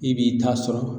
I b'i ta sɔrɔ